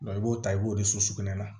i b'o ta i b'o de sokɛnɛ